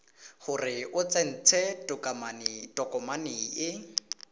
gore o tsentse tokomane e